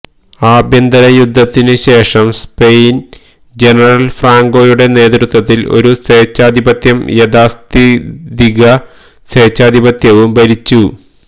ആഭ്യന്തരയുദ്ധത്തിനുശേഷം Spain general ഫ്രാങ്കോയുടെ നേതൃത്വത്തിൽ ഒരു സ്വേച്ഛാധിപത്യവും യാഥാസ്ഥിതിക സ്വേച്ഛാധിപത്യവും ഭരിച്ചു